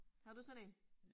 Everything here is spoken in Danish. Havde du sådan én?